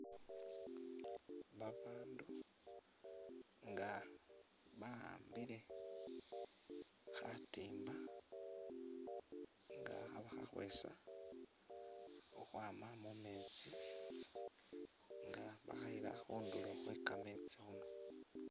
Babandu nga baambile khatimba nga kha’bakhakhwesa ukhwama mumesti nga bakhayila khunduro khwe kamesti khuno .